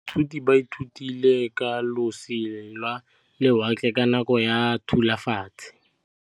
Baithuti ba ithutile ka losi lwa lewatle ka nako ya Thutafatshe.